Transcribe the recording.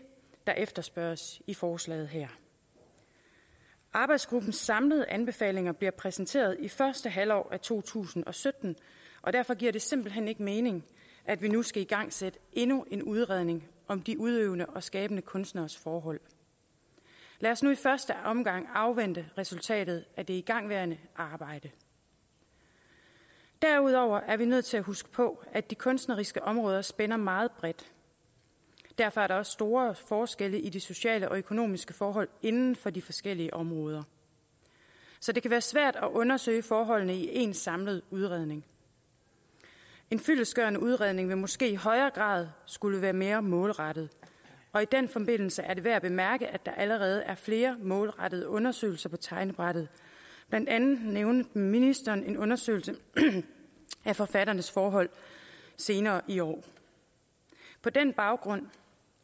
der efterspørges i forslaget her arbejdsgruppens samlede anbefalinger bliver præsenteret i første halvår af to tusind og sytten og derfor giver det simpelt hen ikke mening at vi nu skal igangsætte endnu en udredning om de udøvende og skabende kunstneres forhold lad os nu i første omgang afvente resultatet af det igangværende arbejde derudover er vi nødt til at huske på at de kunstneriske områder spænder meget bredt derfor er der også store forskelle på de sociale og økonomiske forhold inden for de forskellige områder så det kan være svært at undersøge forholdene i én samlet udredning en fyldestgørende udredning vil måske i højere grad skulle være mere målrettet og i den forbindelse er det værd at bemærke at der allerede er flere målrettede undersøgelser på tegnebrættet blandt andet nævnte ministeren en undersøgelse af forfatternes forhold senere i år på den baggrund